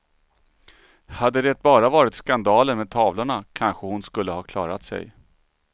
Hade det bara varit skandalen med tavlorna, kanske hon skulle ha klarat sig.